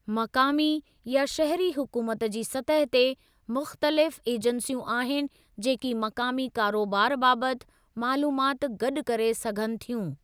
मक़ामी या शहिरी हुकूमत जी सतह ते, मुख़्तलिफ़ ऐजंसियूं आहिनि जेकी मक़ामी कारोबार बाबति मालूमात गॾु करे सघनि थियूं।